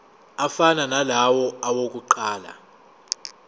afana nalawo awokuqala